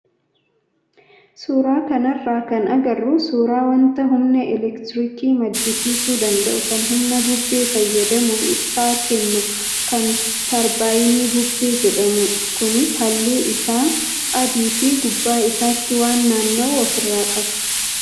Suuraa kanarraa kan agarru suuraa wanta humna elektiriikii maddisiisuu danda'u kan humna bubbee fayyadamuun ibsaa kennu kan tarbaayinii bubbee jedhamudha. Kunis halluun isaa adii fi gubbaa isaatti waan naanna'u ofirraa qaba.